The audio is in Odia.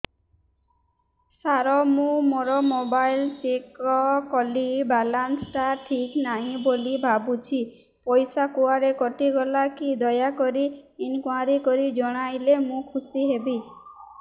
ସାର ମୁଁ ମୋର ମୋବାଇଲ ଚେକ କଲି ବାଲାନ୍ସ ଟା ଠିକ ନାହିଁ ବୋଲି ଭାବୁଛି ପଇସା କୁଆଡେ କଟି ଗଲା କି ଦୟାକରି ଇନକ୍ୱାରି କରି ଜଣାଇଲେ ମୁଁ ଖୁସି ହେବି